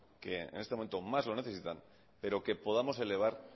que en este momento mas lo necesitan pero que podamos elevar